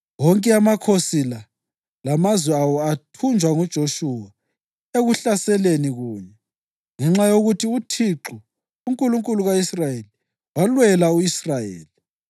Wonke amakhosi la lamazwe awo athunjwa nguJoshuwa ekuhlaseleni kunye, ngenxa yokuthi uThixo, uNkulunkulu ka-Israyeli, walwela u-Israyeli.